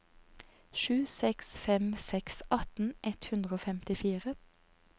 sju seks fem seks atten ett hundre og femtifire